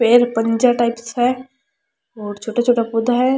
पैर पंजा टाइप्स है और छोटा छोटा पौधा है।